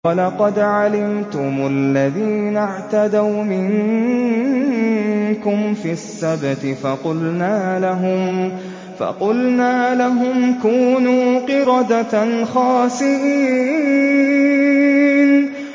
وَلَقَدْ عَلِمْتُمُ الَّذِينَ اعْتَدَوْا مِنكُمْ فِي السَّبْتِ فَقُلْنَا لَهُمْ كُونُوا قِرَدَةً خَاسِئِينَ